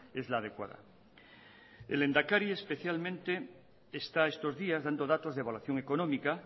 es la adecuada el lehendakari especialmente está estos días dando datos de evaluación económica